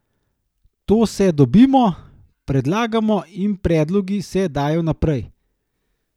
To se dobimo, predlagamo in predlogi se dajo naprej.